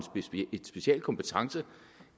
en speciel kompetence